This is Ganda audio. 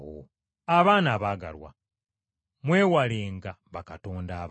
Abaana abaagalwa, mwewalenga bakatonda abalala.